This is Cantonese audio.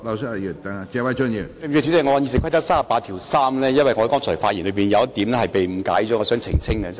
主席，對不起，我想根據《議事規則》第383條澄清，因為我剛才發言時有一點被誤解，我想澄清。